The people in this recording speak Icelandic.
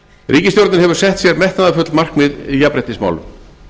ríkisstjórnin hefur sett sér metnaðarfull markmið í jafnréttismálum